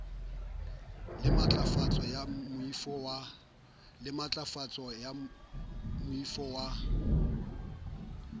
le matlafatso ya moifo wa